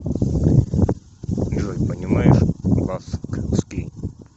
джой понимаешь баскский